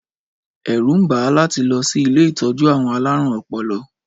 Ẹ̀rù ń bà á láti lọ sí ilé ìtọ́jú àwọn alárùn-ọpọlọ.